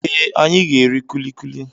Ee, anyị ga-eri kulikuli.